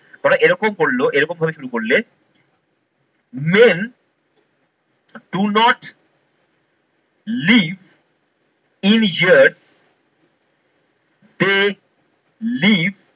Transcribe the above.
কারণ এরকম করলো এরকম ভাবে শুরু করলে main do not lead in here they leave